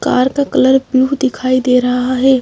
Car का colour blue दिखाई दे रहा है।